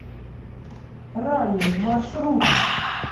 ралли маршрут